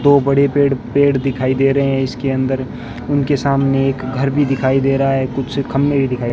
दो बड़े पेड़ पेड़ दिखाई दे रहे हैं इसके अंदर उनके सामने एक घर भी दिखाई दे रहा है कुछ खंभे दिखाई --